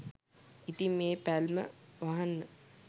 ඉතින් මේ පැල්ම වහන්න